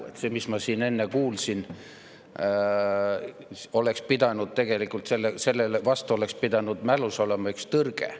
Selle tõttu, mis ma siin enne kuulsin, mälus oli tegelikult tõrge.